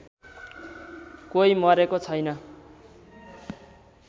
कोही मरेको छैन